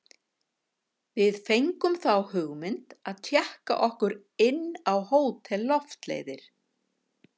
Við fengum þá hugmynd að tékka okkur inn á Hótel Loftleiðir.